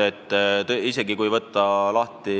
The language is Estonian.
Kui võtta lahti